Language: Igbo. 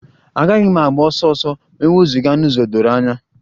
Agaghị m agba ọsọ ọsọ ma e wezụga n'ụzọ doro anya